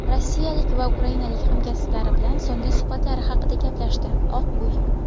rossiyalik va ukrainalik hamkasblari bilan so‘nggi suhbatlari haqida gaplashdi – Oq uy.